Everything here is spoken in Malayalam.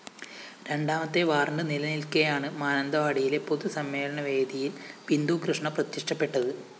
രണ്ടാമത്തെ വാറന്റ്‌ നിലനില്‍ക്കെയാണ് മാനന്തവാടിയിലെ പൊതുസമ്മേളനവേദിയില്‍ ബിന്ദുകൃഷ്ണ പ്രത്യക്ഷപ്പെട്ടത്